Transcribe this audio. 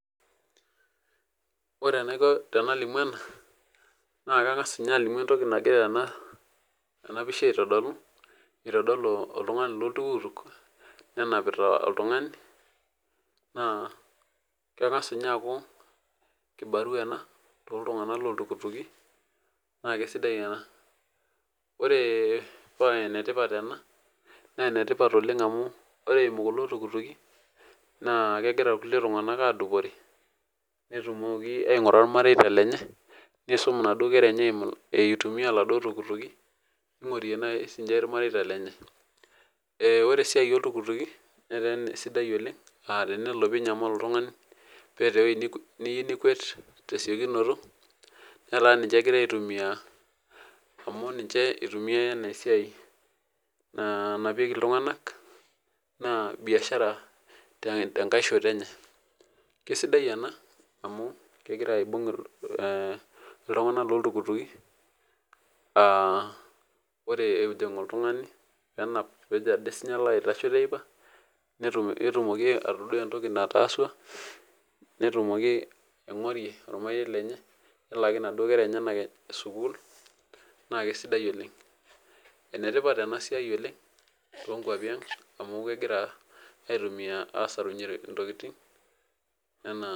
Wore enaiko tenalimu ena, naa kangas ninye ajo entoki nakira ena pisha aitodolu. Itodolu oltungani loltuktuk, nenapa oltungani, naa kengas ninye aaku kibarua ena tooltunganak looltukutuki, naa kaisidai ena. Wore paa enetipat ena, naa enetipat oleng' amu wore eimu kulo tuktuki, naa kekira irkulie tunganak aadupore, netumoki aingura ilmareita lenye, niisum inaduo kera enya itumia iladuo tuktuki. Ningorie naai siinche ilmareita lenye. Wore esiai oltukutuki, netaa sidai oleng', aa tenelo pee inyamalu oltungani, peeta ewoji niyieu nikuet tesekunoto, netaa ninche ekirae aitumia, amu ninche itumiyiai enaa esiai nanapieki iltunganak, naa biashara tenkae shoto tenkae shoto enye. Kaisidai ena, amu kekira aibung iltunganak looltukutuki, wore ejing oltungani pee enap peejo ade sininye alo aitasho teipa, netumoki atadua entoki nataasua. Netumoki aingorie olmarei lenye. Nelaaki inaduo kera enyanak sukuul, naa kaisidai oleng'. Enetipat ena siai oleng' toonkuapi ang', amu kekira aitumia aasarunyie intokitin, enaa